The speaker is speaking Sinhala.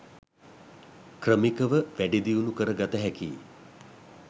ක්‍රමිකව වැඩිදියුණු කර ගත හැකියි.